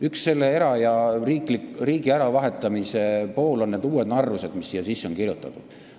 Üks erasektori ja riigi äravahetamise tagajärgi on need uued narrused, mis siia sisse on kirjutatud.